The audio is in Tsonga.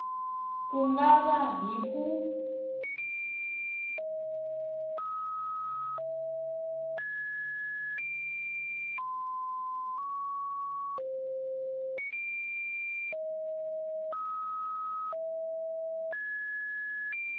ku nga va hi ku